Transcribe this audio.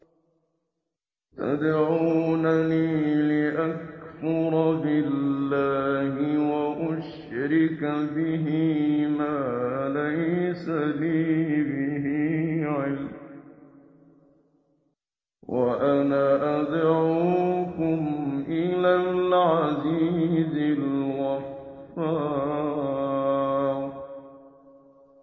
تَدْعُونَنِي لِأَكْفُرَ بِاللَّهِ وَأُشْرِكَ بِهِ مَا لَيْسَ لِي بِهِ عِلْمٌ وَأَنَا أَدْعُوكُمْ إِلَى الْعَزِيزِ الْغَفَّارِ